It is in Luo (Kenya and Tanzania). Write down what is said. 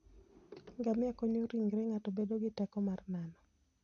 Ngamia konyo ringre ng'ato bedo gi teko mar nano.